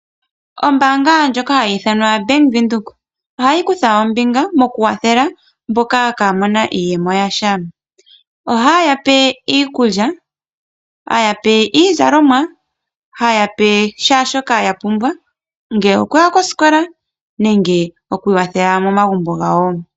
Ombaanga ndjoka ha yi ithanwa Bank Windhoek ohayi kutha ombinga mokukwathela mboka ka ye na iiyemo yasha. Oha yi yape iikulya, iizalomwa na shaashoka ya pumbwa ngaashi okuya kosikola nenge okukwathela momagumbo gawo.